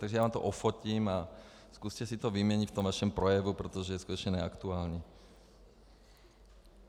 Takže já vám to ofotím a zkuste si to vyměnit v tom vašem projevu, protože je skutečně neaktuální.